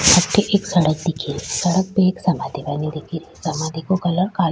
अठे एक सड़क दिखे री सड़क पे एक समाधी बनी दिखे री समाधी को कलर कालो --